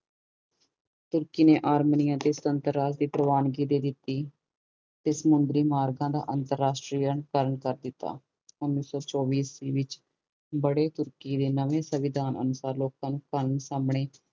ਤੁਰਕੀ ਨੇ ਅਰਮਾਨੀ ਤੇ ਸੁਤੰਤਰ ਰਾਜ ਦੀ ਪ੍ਰਵਾਨੀ ਦੇ ਦਿੱਤੀ ਤੇ ਸੁਮੰਦਰੀ ਮਾਰਗਾਂ ਦਾ ਅੰਤਰਰਾਸ਼ਟਰੀਅਨ ਕਰਨ ਕਰ ਦਿੱਤਾ ਓਨੀ ਸੋ ਚੋਵੀ ਈਸਵੀ ਵਿੱਚ ਬੜੇ ਤੁਰਕੀ ਦੇ ਨਵੇ ਸੰਵਿਧਾਨ ਅਨੁਸਾਰ ਲੋਕ ਨੂੰ